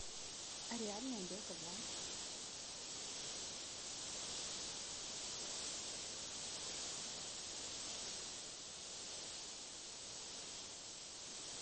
реальная белка два